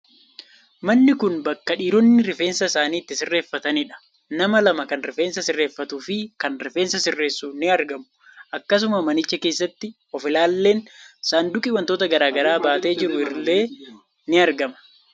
Manni kun bakka dhiironni rifeensa isaanii itti sirreefatanidha. Nama lama kan rifeensa sirreefatuu fi kan rifeensa sirreessu in argamu. Akkasuma manicha keessatti of ilaaleen, saanduqi waantota garaagaraa baatee jiru illee in argama.